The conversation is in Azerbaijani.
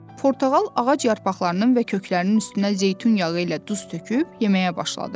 Portağal ağac yarpaqlarının və köklərinin üstünə zeytun yağı ilə duz töküb yeməyə başladı.